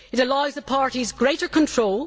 it allows the parties greater control